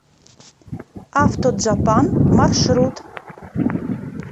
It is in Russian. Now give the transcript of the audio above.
автоджапан маршрут